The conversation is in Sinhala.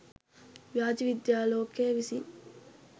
ව්‍යාජ විද්‍යා ලෝකය විසින්